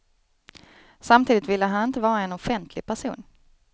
Samtidigt ville han inte vara en offentlig person.